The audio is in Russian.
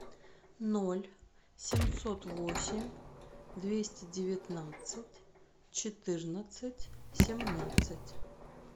ноль семьсот восемь двести девятнадцать четырнадцать семнадцать